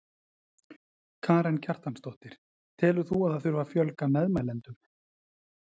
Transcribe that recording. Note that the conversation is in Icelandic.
Karen Kjartansdóttir: Telur þú að það þurfi að fjölga meðmælendum?